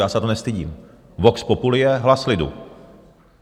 Já se za to nestydím, vox populi je hlas lidu.